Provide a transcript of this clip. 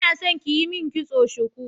Ina so kiyi mun kitson shuku